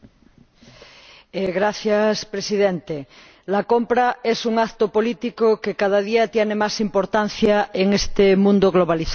Señor Presidente, la compra es un acto político que cada día tiene más importancia en este mundo globalizado.